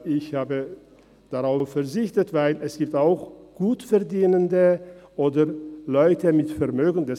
Ich habe darauf verzichtet, weil es auch Gutverdienende oder Leute mit Vermögen gibt.